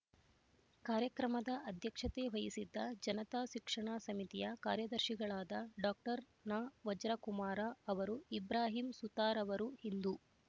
ಕಾರ್ಯಕ್ರಮದ ಅಧ್ಯಕ್ಷತೆ ವಹಿಸಿದ್ದ ಜನತಾ ಶಿಕ್ಷಣ ಸಮಿತಿಯ ಕಾರ್ಯದರ್ಶಿಗಳಾದ ಡಾಕ್ಟರ್ ನವಜ್ರಕುಮಾರ ಅವರು ಇಬ್ರಾಹಿಂ ಸುತಾರವರು ಹಿಂದೂ